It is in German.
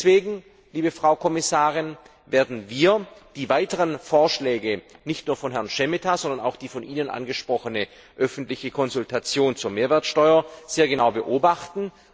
Deswegen, Frau Kommissarin, werden wir die weiteren Vorschläge nicht nur von Herrn Šemeta, sondern auch die von Ihnen angesprochene öffentliche Konsultation zur Mehrwertsteuer sehr genau beobachten.